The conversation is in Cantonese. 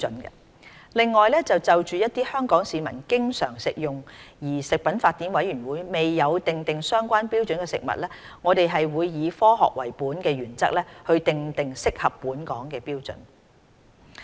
此外，就一些香港市民經常食用而食品法典委員會未有訂定相關標準的食物，我們會以"科學為本"的原則訂定適合本港的標準。